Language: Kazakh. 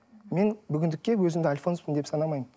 мен бүгіндікке өзімді альфонспын деп санамаймын